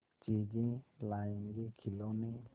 चीजें लाएँगेखिलौने